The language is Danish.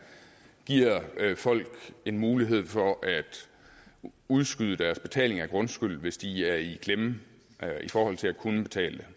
giver folk en mulighed for at udskyde deres betaling af grundskylden hvis de er i klemme i forhold til at kunne betale